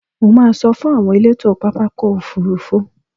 Mo máa sọ fún àwọn elétò pápákọ̀ òfurufú.